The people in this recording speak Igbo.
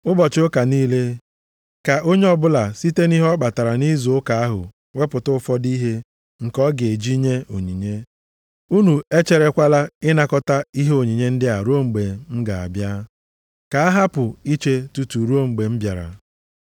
Ụbọchị ụka niile, ka onye ọbụla site nʼihe ọ kpatara nʼizu ụka ahụ wepụta ụfọdụ ihe nke ọ ga-eji nye onyinye a. Unu e cherekwala ịnakọta ihe onyinye ndị a ruo mgbe m ga-abịa. Ka a hapụ iche tutu ruo mgbe m bịara.